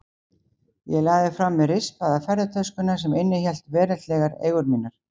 Ég lagði frá mér rispaða ferðatöskuna sem innihélt veraldlegar eigur mínar.